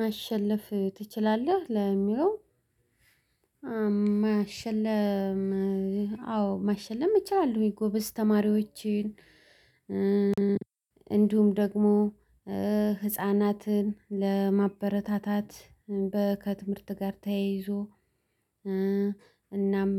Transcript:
ማሸለፍ ትችላለህ? ለሚለው ማሸለፍ አዎ ማሸለም ይቻላል? ወይ ጎበዝ ተማሪዎችን እንዲሁም ደግሞ ህፃናትን ለማበረታታት በ ከትምህርት ጋር ተያይዞ። እናም